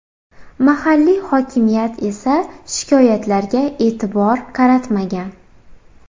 Mahalliy hokimiyat esa shikoyatlarga e’tibor qaratmagan.